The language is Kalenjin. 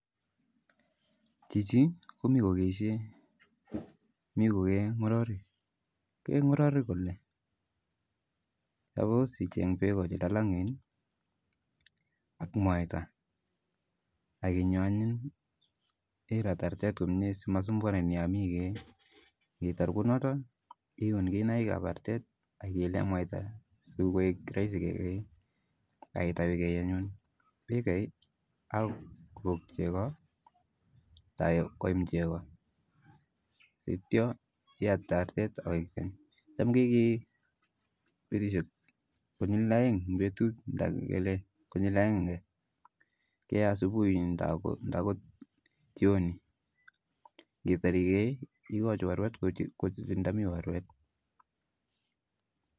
Chichi komii kokeishei mi kokee ngororik ,kee ngororik kole ,supos icheng' beko che lalangen ak mwata akinyo anyun irat artet komye si masumbuani yo mii ikeee ngitar kunoto ihun kinaik ap artet akiile mwata sokoek raisi kekee ak itau ikei anyun ikei ako kopok cheko nda koim cheko sittyo iyatite artet, cham kekee petushek konyil aeng eng petut nda ngele konyil aenge asubui ndaa akot jioni, kitar ikee ikochi warwet kochuchun nda mi warwet